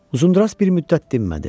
Uzunduraç bir müddət dinmədi.